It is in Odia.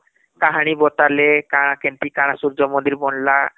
କାହାଣୀ ବାତାଳେ କାଣା କେମିତି କାଣା ସୂର୍ଯ୍ୟ ମନ୍ଦିର ବନିଲା